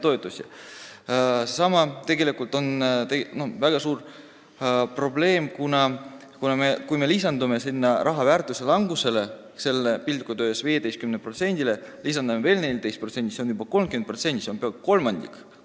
See on tegelikult väga suur probleem: kui me lisame raha väärtuse langusele, piltlikult öeldes sellele 15%-le, veel 14%, siis see on juba 30%, mis on peaaegu kolmandik.